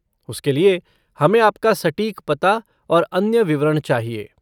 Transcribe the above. उसके लिए, हमें आपका सटीक पता और अन्य विवरण चाहिए।